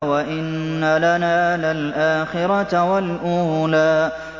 وَإِنَّ لَنَا لَلْآخِرَةَ وَالْأُولَىٰ